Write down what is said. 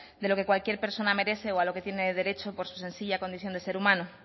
de lo que cualquier persona merece o a lo que tiene derecho por su sencilla condición de ser humano